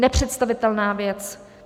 Nepředstavitelná věc!